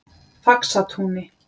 Faxatúni